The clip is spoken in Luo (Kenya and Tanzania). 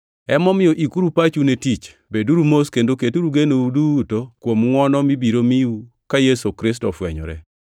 Emomiyo ikuru pachu ne tich. Beduru mos kendo keturu genou duto kuom ngʼwono mibiro miu ka Yesu Kristo ofwenyore.